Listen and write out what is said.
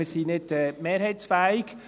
Wir sind nicht mehrheitsfähig.